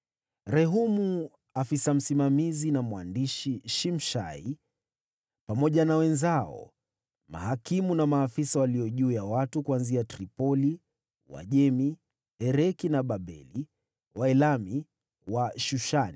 Rehumu afisa msimamizi na mwandishi Shimshai, pamoja na wenzao, yaani mahakimu na maafisa walio juu ya watu kuanzia Tripoli, Uajemi, Ereki na Babeli, Waelami wa Shushani,